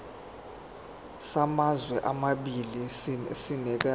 samazwe amabili sinikezwa